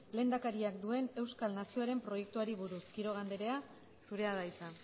lehendakariak duen euskal nazioaren proiektuari buruz quiroga andrea zurea da hitza